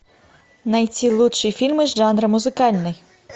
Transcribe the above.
найти лучшие фильмы жанра музыкальный